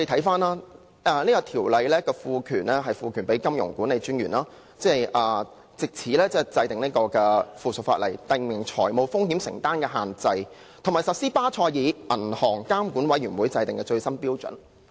此《條例草案》賦權金融管理專員，制定附屬法例，訂明認可機構的風險承擔的限度，以及落實巴塞爾銀行監管委員會制定的最新標準。